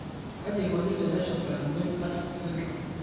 kaji eikoni teneshurtakinoi Arts syndrome?